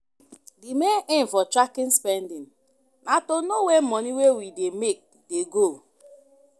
Di main aim for tracking spending na to know where money wey we dey make dey go